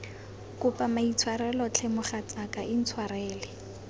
kopa maitshwarelo tlhe mogatsaka intshwarele